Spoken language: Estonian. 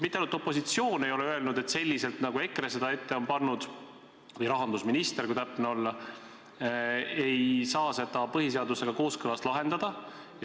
Mitte ainult opositsioon ei ole öelnud, et selliselt, nagu EKRE ette on pannud – või rahandusminister, kui täpne olla –, ei saa seda põhiseadusega kooskõlas lahendada.